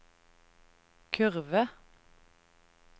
kurve